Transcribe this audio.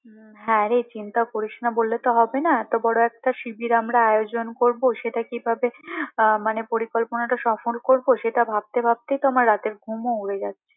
হুম হ্যাঁ রে চিন্তা করিস না বললে তো হবে না এত বড় একটা শিবিরের আমরা আয়োজন করবো সেটা কিভাবে মানে পরিকল্পনাটা কখন করবো সেটা ভাবতে ভাবতেই তো আমার রাতের ঘুমও উড়ে যাচ্ছে